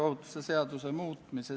Palun!